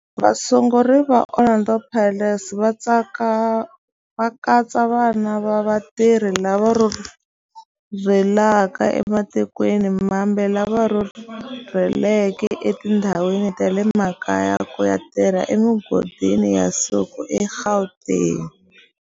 Vasunguri va Orlando Pirates va katsa vana va vatirhi lava rhurhelaka ematikweni mambe lava rhurheleke etindhawini ta le makaya ku ya tirha emigodini ya nsuku eGauteng.